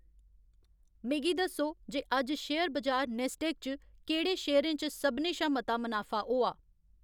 मिगी दस्सो जे अज्ज शेयर बजार नैस्डैक च केह्ड़े शेयरें च सभनें शा मता मनाफा होआ